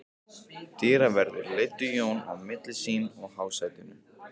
Dyraverðir leiddu Jón á milli sín að hásætinu.